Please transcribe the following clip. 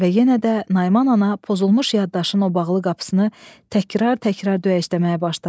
Və yenə də Nayman ana pozulmuş yaddaşın o bağlı qapısını təkrar-təkrar döyəcləməyə başladı.